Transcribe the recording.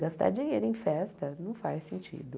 Gastar dinheiro em festa não faz sentido.